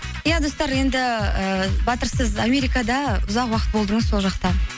ия достар енді ііі батыр сіз америкада ұзақ уақыт болдыңыз сол жақта